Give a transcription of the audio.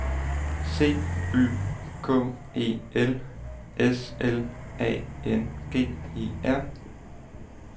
C Y K E L S L A N G E R